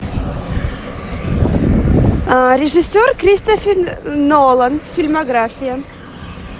режиссер кристофер нолан фильмография